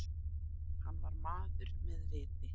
Hann var maður með viti.